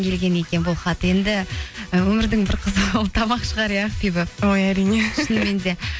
келген екен бұл хат енді і өмірдің бір қызығы ол тамақ шығар иә ақбибі ой әрине шынымен де